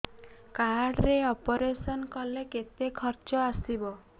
card ରେ operation କଲେ କେତେ ଖର୍ଚ ଆସିବ